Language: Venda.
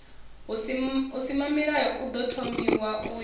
husimamilayo ḓo thomiwaho u ya